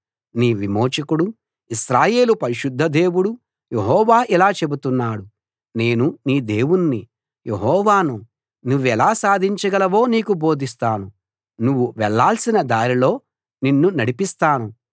నీ విమోచకుడు ఇశ్రాయేలు పరిశుద్ధ దేవుడు యెహోవా ఇలా చెబుతున్నాడు నేను నీ దేవుణ్ణి యెహోవాను నువ్వెలా సాధించగలవో నీకు బోధిస్తాను నువ్వు వెళ్ళాల్సిన దారిలో నిన్ను నడిపిస్తాను